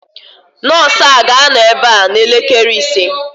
Nọọsụ a ga-anọ ebe a n'elekere ise